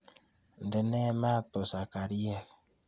Ndenee maat busakaryeek.